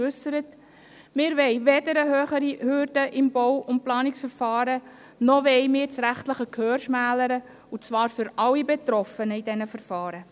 Wir wollen weder eine höhere Hürde im Bau- und Planungsverfahren, noch wollen wir das rechtliche Gehör schmälern, und zwar für alle Betroffenen in diesen Verfahren.